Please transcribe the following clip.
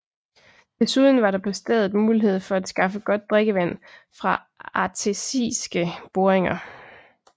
Desuden var der på stedet mulighed for at skaffe godt drikkevand fra artesiske boringer